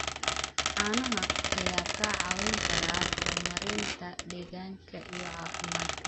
Caanaha ayaa kaa caawin kara horumarinta deegaanka iyo caafimaadka.